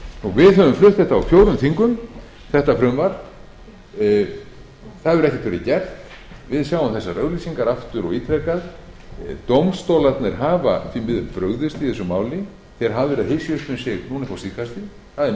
flutt þetta frumvarp á fjórum þingum það hefur ekkert verið gert við sjáum þessar auglýsingar aftur og ítrekað dómstólar hafa því miður brugðist í málinu þeir hafa hysjað upp um sig